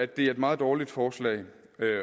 det er et meget dårligt forslag